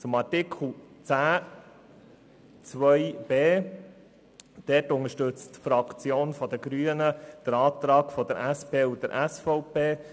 Bei Artikel 10 Absatz 2 Buchstabe b unterstützt die grüne Fraktion den Antrag von SP und SVP.